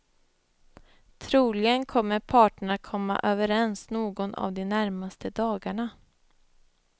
Troligen kommer parterna att komma överens någon av de närmaste dagarna.